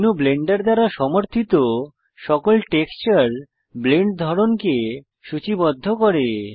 এই menu Blender দ্বারা সমর্থিত সকল টেক্সচার ব্লেন্ড ধরনকে সূচিবদ্ধ করে